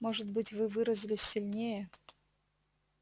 может быть вы выразились сильнее